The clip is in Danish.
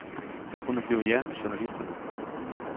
Det kunne blive jer, journalisterne.